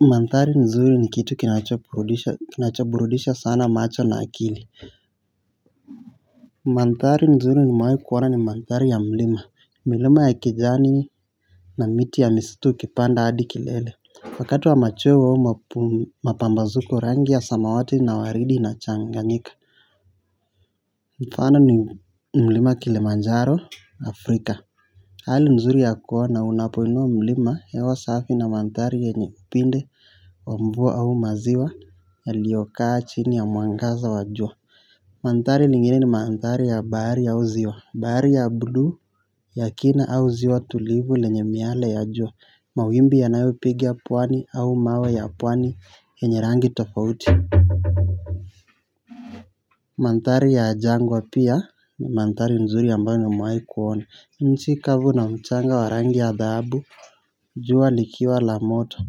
Mandhari nzuri ni kitu kinachoburudisha sana macho na akili. Mandhari nzuri nimewahi kuona ni mandhari ya mlima. Milima ya kijani na miti ya misitu ukipanda hadi kilele. Wakati wa machweo au mapambazuko rangi ya samawati na waridi inachanganyika. Mfano ni mlima kilimanjaro afrika. Hali nzuri ya kuona unapoinua mlima, hewa safi na mandhari yenye vipindi wa mvua au maziwa yaliyokaa chini ya mwangaza wa jua. Mandhari lingine ni mandhari ya bahari au ziwa. Bahari ya buluu ya kina au ziwa tulivu lenye miale ya jua. Mawimbi yanayopiga pwani au mawe ya pwani yenye rangi tofauti. Mandhari ya jangwa pia ni mandhari nzuri ambayo nimewahi kuona. Nchi kavu na mchanga wa rangi ya dhahabu, jua likiwa la moto.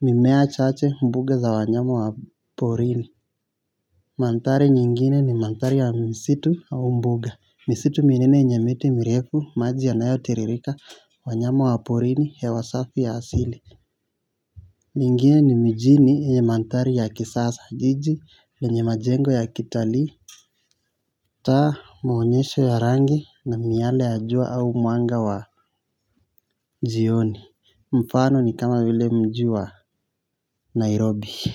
Mimea chache, mbuga za wanyama wa porini. Mandhari nyingine ni mandhari ya misitu au mbuga. Misitu minene yenye miti mirefu, maji yanayotiririka, wanyama wa porini, hewa safi ya asili. Nyingine ni mijini yenye mandhari ya kisasa. Jiji lenye majengo ya kitalii. Taa, maonyesho ya rangi, na miale ya jua au mwanga wa jioni. Mfano ni kama vile mji wa Nairobi.